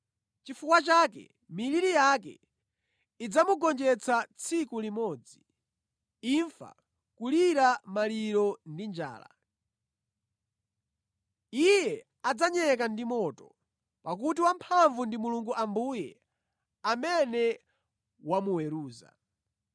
Chifukwa chake miliri yake idzamugonjetsa tsiku limodzi; imfa, kulira maliro ndi njala. Iye adzanyeka ndi moto pakuti wamphamvu ndi Mulungu Ambuye amene wamuweruza.